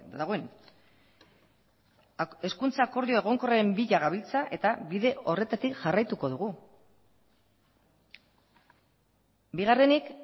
dagoen hezkuntza akordio egonkorren bila gabiltza eta bide horretatik jarraituko dugu bigarrenik